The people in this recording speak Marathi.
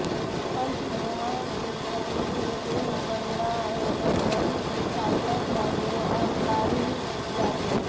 पंचमहाभूतांनी देह बनला आहे पण मन सापडत नाही व अहंकारही जात नाही